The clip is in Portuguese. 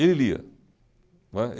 Ele lia, não é.